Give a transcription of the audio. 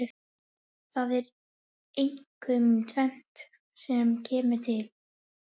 Það er einkum tvennt sem kemur til.